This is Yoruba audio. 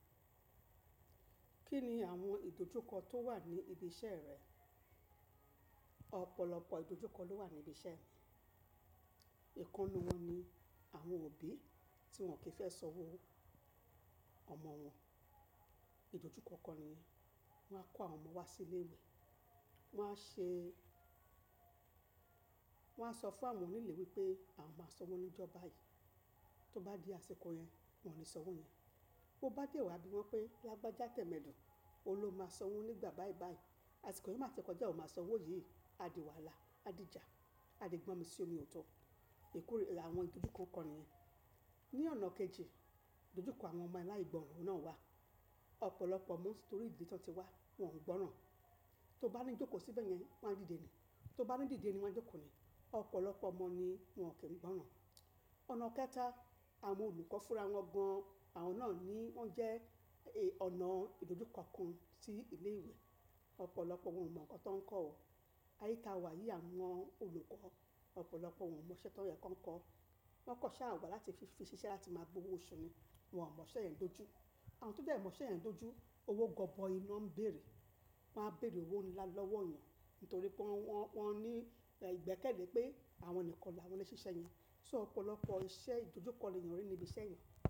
Kí ni àwọn ìdojúkọ tó wà ní ibi iṣẹ́ rẹ? Ọ̀pọ̀lọpọ̀ ìdojúkọ ló wà ní ibi iṣẹ́ mi. Ìkan nú wọn ni àwọn òbí tí wọ́n kì í fẹ́ sanwọ́ ọmọ wọn. Ìdojúkọ kan ni yẹn, wọ́n á kó àwọn ọmọ wọn wá sí ilé ìwé, wọ́n á ṣe wọ́n sọ fún àwọn onílé wípé àwon má sanwó níjọ́ báyìí. Tó bá di àsìkò yẹn, wọn ní sanwó yẹn. Tó bá dé wá bí wọ́n pé lágbájá tẹ̀mẹ́dùn, ó lè máa sanwó nígbà báyìí báyìí. Àsìkò yìí má ti kọjá, ó máa sanwó yìí, a di wàlá, a di ìjà, a di gbọn mi sí omi òtò. Èkuru ni àwọn ìdojúkọ kan nìyẹn. Ní ọ̀nà kejì, ìdojukó àwọn ọmọ aláìgbọ́ran náà wà. Ọ̀pọ̀lọpọ̀ ọmọ tí torí ìdíle tán ti wá, wọn ò ń gbọ́ràn. Tó bá ní jókòó síbẹ̀ yẹn, wọ́n á dìde ni. Tó bá ní dìde ni, wọ́n á jókòó ni. Ọ̀pọ̀lọpọ̀ ọmo ni wọ́n ò kí ń gbọ́ràn. Ọ̀nà kẹta, àwọn olùkọ́ fúnra wọn gan, àwọn náà ni wọ́n jẹ́ ọ̀nà ìdojúkọ kan sí ilé ìwé. Ọ̀pọ̀lọpọ̀ wọn ò mọ́ nǹkan tó ń kọ́ ọ. Aye ta wà yí, à mọn olùkọ́, ọ̀pọ̀lọpọ̀ wọn ò mọ iṣẹ́ tó yẹ kó ń kọ́. Wọ́n kọ́n sa wa láti fi ṣiṣẹ́ láti máa gbówó oṣú ni. Wọn ò mọ iṣẹ́ yẹn dojú. Àwọn tó dẹ́ẹ̀ mọ iṣẹ́ yẹn dojú, owó gọbọi ná ń bèèrè. Wọn á bèèrè owó ńlá lọ́wọ́ èèyàn nítorí pé wọ́n, wọ́n ní ìgbẹ́kẹ̀lé pé àwọn nìkan la wọ́n lè ṣe iṣẹ̀ yẹn. So ọ̀pọ̀lọpọ̀ iṣẹ́ ìdojúkọ ni èèyàn rí ní ibi iṣẹ́ yẹn.